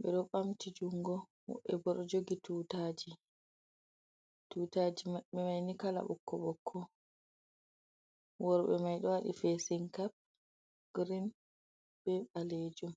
be do bamti jungo mube bo do jogi ttjtutaji mabbe maini kala bokko bokko worbe mai do wadi fesinkap green be balejum